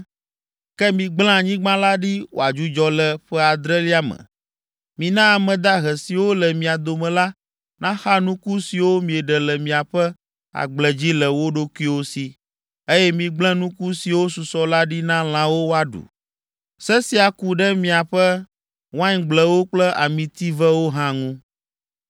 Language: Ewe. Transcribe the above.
ke migblẽ anyigba la ɖi wòadzudzɔ le ƒe adrelia me. Mina ame dahe siwo le mia dome la naxa nuku siwo mieɖe le miaƒe agble dzi le wo ɖokuiwo si, eye migblẽ nuku siwo susɔ la ɖi na lãwo woaɖu. Se sia ke ku ɖe miaƒe waingblewo kple amitivewo hã ŋu.